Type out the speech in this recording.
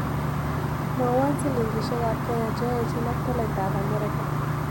Mwawon silingisyekab kenya che aechinak tolaitap amerika